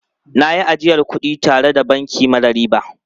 Na yi ajiyar wasu kudi tare da banki mara riba.